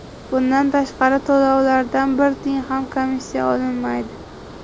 Bundan tashqari, to‘lovlardan bir tiyin ham komissiya olinmaydi.